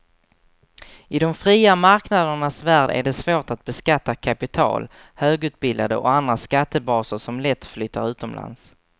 I de fria marknadernas värld är det svårt att beskatta kapital, högutbildade och andra skattebaser som lätt flyttar utomlands.